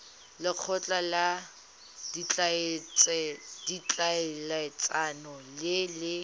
lekgotla la ditlhaeletsano le le